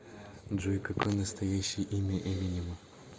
джой какое настоящее имя эминема